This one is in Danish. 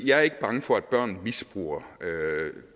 jeg er ikke bange for at børn misbruger